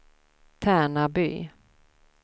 Tärnaby